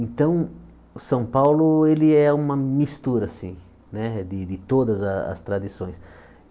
Então, o São Paulo, ele é uma mistura, assim, né, de de todas as tradições.